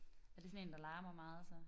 Er det sådan én der larmer meget så?